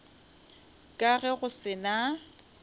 ka ge go se na